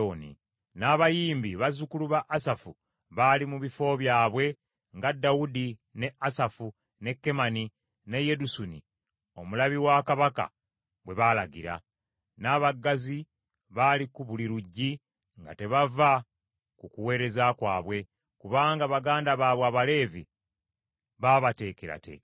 N’abayimbi bazzukulu ba Asafu baali mu bifo byabwe nga Dawudi, ne Asafu, ne Kemani ne Yedusuni, omulabi wa kabaka, bwe baalagira. N’abaggazi baali ku buli luggi, nga tebava ku kuweereza kwabwe, kubanga baganda baabwe Abaleevi baabateekerateekera.